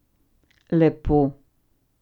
Lepo.